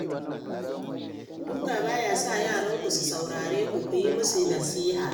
Duka ba ya sa yaranku su saurare ku, ku yi musu nasiha